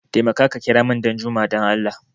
Taimaka ka kiramun Ɗanjuma dan Allah!